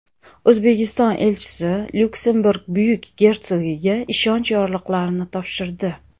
O‘zbekiston elchisi Lyuksemburg Buyuk gersogiga ishonch yorliqlarini topshirdi.